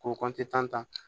K'o kɔnti tan